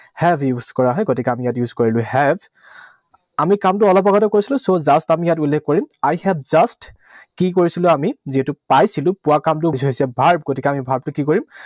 Have use কৰা হয়। গতিকে আমি ইয়াত use কৰিলো have, আমি কামটো অলপ আগতে কৰিছিলো। So, just আমি ইয়াত উল্লেখ কৰিম। I have just, কি কৰিছিলো আমি? যিহেতু পাইছিলো। পোৱা কামটো হৈছে verb, গতিকে আমি verb টো কি কৰিম?